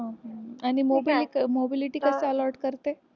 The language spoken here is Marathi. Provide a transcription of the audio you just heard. हो का आणि mobility कसं allowed करते?